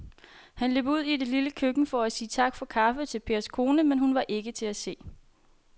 Han løb ud i det lille køkken for at sige tak for kaffe til Pers kone, men hun var ikke til at se.